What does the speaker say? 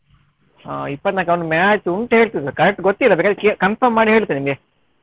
ಹಾ ಇಪ್ಪತ್ನಾಲ್ಕಕ್ಕೆ ಅವನಿಗೆ match ಉಂಟ್ ಹೇಳ್ತಿದ್ದ correct ಗೊತ್ತಿಲ್ಲ ಬೇಕಾದ್ರೆ ಕೇ~ confirm ಮಾಡಿ ಹೇಳ್ತೇನೆ ನಿನ್ಗೆ.